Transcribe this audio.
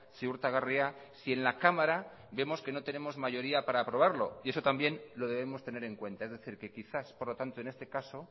ziurtagarria si en la cámara vemos que no tenemos mayoría para aprobarlo y eso también lo debemos tener en cuenta es decir que quizás por lo tanto en este caso